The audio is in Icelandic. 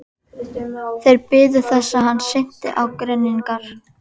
Þeir biðu þess hann synti á grynningar.